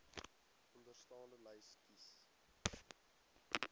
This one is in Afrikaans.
onderstaande lys kies